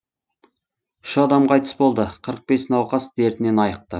үш адам қайтыс болды қырық бес науқас дертінен айықты